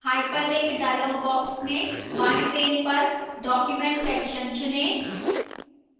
hyperlink dialog box में बाएं pane पर document section चुनें